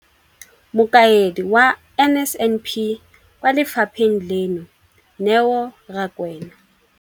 Mokaedi wa NSNP kwa lefapheng leno, Neo Rakwena.